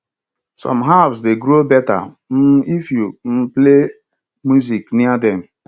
some herbs dey grow better um if you um play music near dem